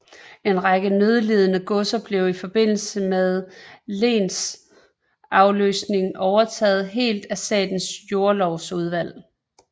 En række nødlidende godser blev i forbindelse med lensafløsningen overtaget helt af Statens Jordlovsudvalg